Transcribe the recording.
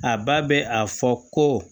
A ba bɛ a fɔ ko